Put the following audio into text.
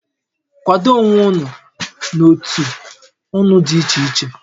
Kwado onwé ụnụ n'ótú ụnụ dị ichè ichè!